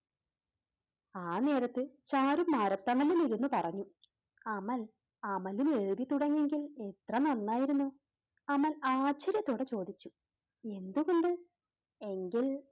ആ നേരത്ത് ചാരു മരത്തണലിൽ ഇരുന്നു പറഞ്ഞു അമൽ, അമലും എഴുതിത്തുടങ്ങിയിരുന്നെങ്കിൽ എത്ര നന്നായിരുന്നു അമൽ ആശ്ചര്യത്തോടെ ചോദിച്ചു. എന്തുകൊണ്ട്? എങ്കിൽ,